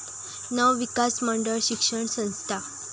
नवविकास मंडळ शिक्षण संस्था